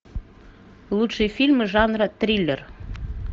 лучшие фильмы жанра триллер